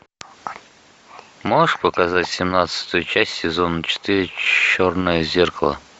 можешь показать семнадцатую часть сезона четыре черное зеркало